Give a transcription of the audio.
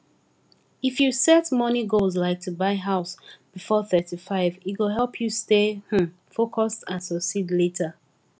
if you set money goals like to buy house before thirty five e go help you stay um focused and succeed later